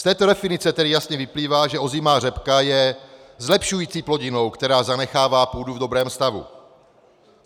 Z této definice tedy jasně vyplývá, že ozimá řepka je zlepšující plodinou, která zanechává půdu v dobrém stavu.